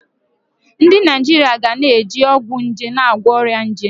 Ndị Naijiria ga na-eji ọgwụ nje na-agwọ ọrịa nje.